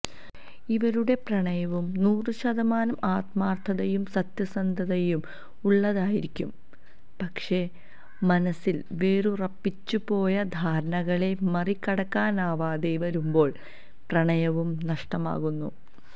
ഇവരുടെ പ്രണയവും നൂറ് ശതമാനം ആത്മാര്ത്ഥതയും സത്യസന്ധതയും ഉള്ളതായിരിക്കും പക്ഷെ മനസില് വേരുറച്ചുപോയ ധാരണകളെ മറികടക്കനാവാതെ വരുമ്പോള് പ്രണയവും നഷ്ടമാകുന്നു